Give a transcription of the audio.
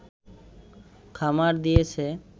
খামার দিয়েছে